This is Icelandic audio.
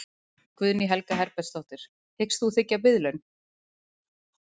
Guðný Helga Herbertsdóttir: Hyggst þú þiggja biðlaun?